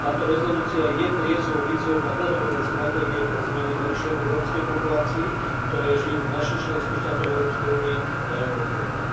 Táto rezolúcia je triezvou výzvou na dlhodobé stratégie pre zmeny k lepšiemu v rómskej populácii, ktorá žije v našich členských štátoch v Európskej únii, a ja ju podporujem.